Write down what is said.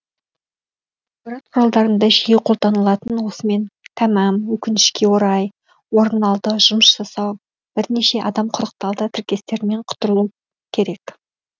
ақпарат құралдарында жиі қолданылатын осымен тәмәм өкінішке орай орын алды жұмыс жасау бірнеше адам құрықталды тіркестерінен құтылу керек